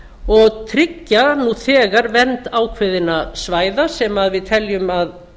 og tryggja nú þegar vernd ákveðinna svæða sem við teljum að